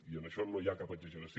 i en això no hi ha cap exageració